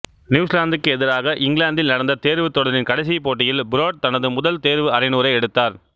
நியூசிலாந்துக்கு எதிராக இங்கிலாந்தில் நடந்த தேர்வுத் தொடரின் கடைசிப் போட்டியில் பிரோட் தனது முதல் தேர்வு அரைநூறை எடுத்தார்